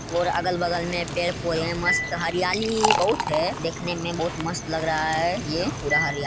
और अगल बगल में पेड़ पौधे मस्त हरियाली बहुत है देखने में बहुत मस्त लग रहा है ये पुरा हरिया--